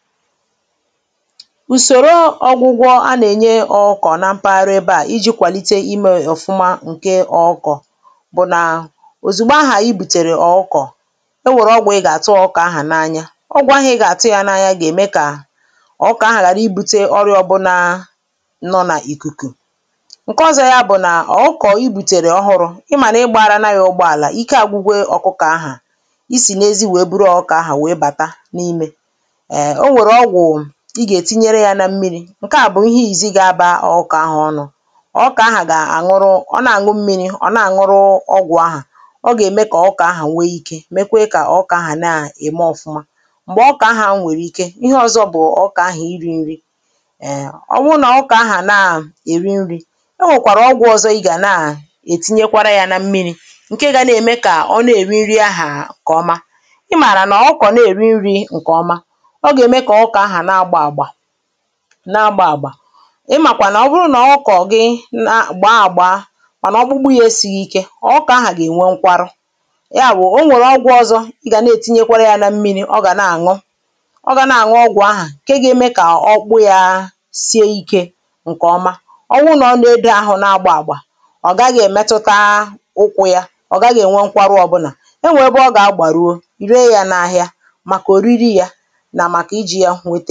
ùsòro ọgwụgwọ a na-ènye ọkọ̀ na mpaghara ebe à iji̇ kwàlite imė ọ̀fụma ǹke ọkọ bụ nà òzìgbo ahà i bùtèrè ọ̀kọ e nwèrè ọgwụ̀ ị gà-àtụ ọkọ ahà n’anya ọgwụ̀ ahà ị gà-àtụ ya n’anya gà-ème kà ọkọ ahà ghàra ibu̇te ọrịọ̇ bụ nà nọ n’ìkùkù ǹke ọzọ ya bụ̀ nà ọkọ i bùtèrè ọhụrụ̇ ị mànà ị gbȧara nà ya ụgbọàlà ike àgwụgwe ọ̀kọkọ ahà isì n’ezi wèe bụrụ ọkọ ahà wèe bàta n’ime i gà-ètinyere yȧ na mmiri̇ ǹkeà bụ̀ ihẹ yȧ jì ga-abȧ ọ kà ahà ọnụ̇ ọ̀ kà ahà gà-àṅụrụ ọ nà-àṅụ mmiri̇, ọ̀ nà-àṅụrụ ọgwụ̀ ahà ọ gà-ème kà ọkà ahà nwẹ ikė mekwe kà ọkà ahà na-ème ọ̀fụma m̀gbè ọkà ahà a nwẹ̀rẹ̀ ike ihe ọzọ bụ̀ ọkà ahà iri̇ nri è ọ wụ nà ọkà ahà na-èri nri̇ ọ nwẹ̀kwàrà ọgwụ̀ ọzọ i gà na-ètinyekwara yȧ na mmiri̇ ǹkẹ̀ gȧ na-ème kà ọ nà-èri nri ahà ǹkè ọma ị mààrà nà ọkwọ̀ na-èri nri̇ ǹkè ọma na-agba àgbà ịmàkwà nà ọ bụrụ nà ọ kọ̀ gị gbàa àgba ọ̀ nọ̀ ọ bụgbu yȧ esìghì ike ọ bụkà ahà gà-ènwe nkwa arụ ya bụ̀ o nwèrè ọgwụ̇ ọzọ ị gà na-ètinye yȧ na mmi̇ri̇ ọ gà na-àṅụ ọ gà na-àṅụ ọgwụ̀ ahà ke gȧ-eme kà ọkpụ yȧ sie ike ǹkè ọma ọwụ nà ọ nà-ȧdị ahụ̇ na-agba àgbà ọ gaghị̇ èmetuta ụkwụ̇ ya ọ̀ gaghị̇ ènwe nkwarụ ọ̀ bụlà e nwè ebe ọ gà-àgbàruo rie yȧ n’ahịa màkà ò riri yȧ ǹọ̀